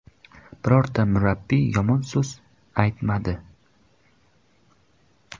Birorta murabbiy yomon so‘z aytmadi.